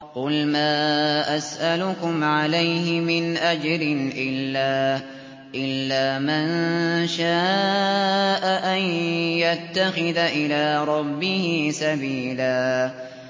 قُلْ مَا أَسْأَلُكُمْ عَلَيْهِ مِنْ أَجْرٍ إِلَّا مَن شَاءَ أَن يَتَّخِذَ إِلَىٰ رَبِّهِ سَبِيلًا